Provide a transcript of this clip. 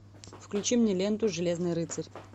включи мне ленту железный рыцарь